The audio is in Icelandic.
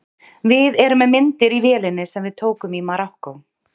Við erum með myndir í vélinni sem við tókum í Marokkó.